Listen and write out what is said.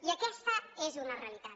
i aquesta és una realitat